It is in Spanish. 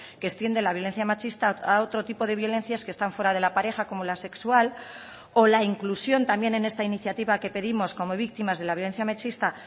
que extiende la violencia machista a otro tipo de violencias que están fuera de la pareja como la sexual o la inclusión también en esta iniciativa que pedimos como víctimas de la violencia machista